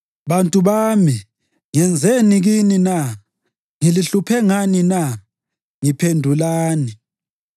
Bantu bami, ngenzeni kini na? Ngilihluphe ngani na? Ngiphendulani.